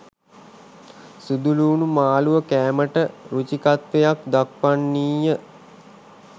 සුදුලූණු මාළුව කෑමට රුචිකත්වයක් දක්වන්නීය